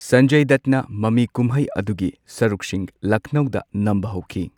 ꯁꯟꯖꯢ ꯗꯠꯅ ꯃꯃꯤ ꯀꯨꯝꯍꯩ ꯑꯗꯨꯒꯤ ꯁꯔꯨꯛꯁꯤꯡ ꯂꯈꯅꯧꯗ ꯅꯝꯕ ꯍꯧꯈꯤ꯫